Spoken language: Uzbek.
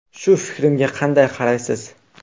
Shu fikrimga qanday qaraysiz?